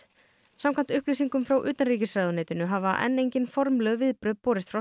samkvæmt upplýsingum frá utanríkisráðuneytinu hafa enn engin formleg viðbrögð borist frá